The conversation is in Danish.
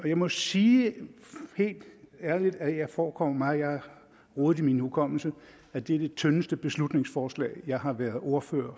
jeg må sige helt ærligt at det forekommer mig og jeg har rodet i min hukommelse at det er det tyndeste beslutningsforslag jeg har været ordfører